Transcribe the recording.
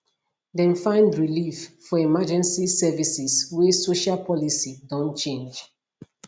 dem find relief for emergency services wey social policy don change